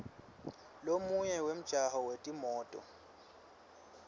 lomunye wemjaho wetimoto